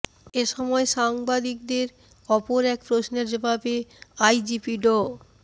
এ সময় সাংবাদিকদের অপর এক প্রশ্নের জবাবে আইজিপি ড